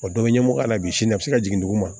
O dɔ bɛ ɲɛmɔgɔya la bi sini a bɛ se ka jigin dugu ma